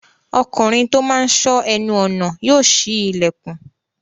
Ọkùnrin tó máa n sọ́ ẹnu ọnà yóò ṣí ilẹ̀kùn